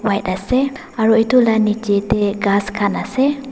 White ase aro etu la nejey tey khass khan ase.